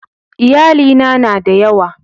Iyalina na da yawa.